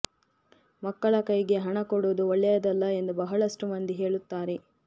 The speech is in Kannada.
ಮಕ್ಕಳ ಕೈಗೆ ಹಣ ಕೊಡುವುದು ಒಳ್ಳೆಯದಲ್ಲ ಎಂದು ಬಹಳಷ್ಟು ಮಂದಿ ಹೇಳುತ್ತಾರೆ